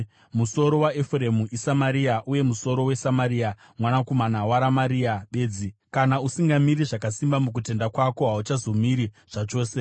Musoro weEfuremu iSamaria, uye musoro weSamaria mwanakomana waRamaria bedzi. Kana usingamiri zvakasimba mukutenda kwako, hauchazomiri zvachose.’ ”